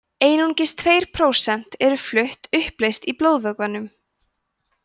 einungis tveir prósent eru flutt uppleyst í blóðvökvanum